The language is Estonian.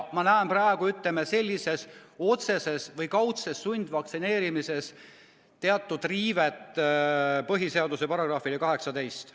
Praegu ma näen selles otseses või kaudses sundvaktsineerimises teatud riivet põhiseaduse §-ga18.